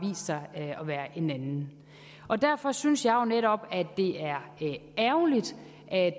vist sig at være en anden derfor synes jeg jo netop at det er ærgerligt at